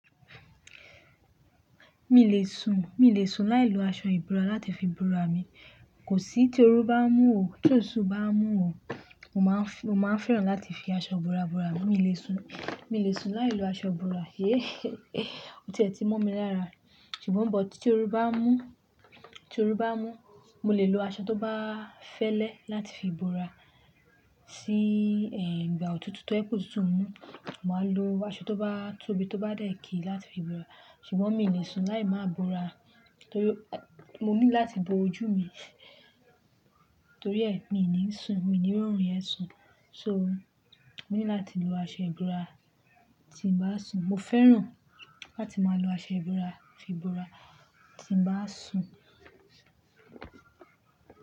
Mi le sùn, mi le sùn láì lo aṣọ ìbora láti fi bora mi. Kò sí tí oru bá ń mú ò, tí oṣù bá ń mú ò, mo máa ń fẹ́, mo máa ń fẹ́ràn láti fi aṣọ bora bora mi. Mi le sùn, mi le sùn láì lo aṣọ ìbora. Yé é, ó ti ẹ ti mọ́ mi lára. Ṣùgbọ́n bọ̀ tí oru bá ń mú, tí oru bá ń mú, mo le lo aṣọ tó bá fẹ́lẹ́ láti fi bora. Sí, ehn, ìgbà òtútù tí ó jẹ kó tútù mú, màá lo aṣọ tó bá tóbi tó bá dẹ̀kì láti fi bora. Ṣùgbọ́n mi ò le sùn láì máa bora torí mo ní láti bo ojú mi. Torí ẹ mi ò ní sùn, mi ò ní rí òórùn yẹn sùn. So, mo ní láti lo aṣọ ìbora tí ń bá sùn. Mo fẹ́ràn láti máa lo aṣọ ìbora fi bora tí ń bá sùn.